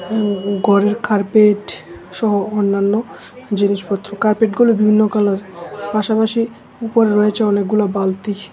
ইম ঘরের কার্পেট সহ অন্যান্য জিনিসপত্র কার্পেটগুলো বিভিন্ন কালারের পাশাপাশি উপরে রয়েছে অনেকগুলা বালতি।